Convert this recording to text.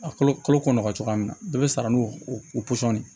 A kalo kalo kɔnɔ nɔgɔ cogoya min na dɔ be sara n'o pɔsɔn de ye